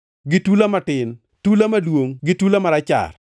gi tula matin, tula maduongʼ gi tula marachar,